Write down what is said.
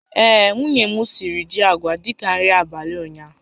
Ee, nwunye m siri ji awaị dị ka nri abalị ụnyaahụ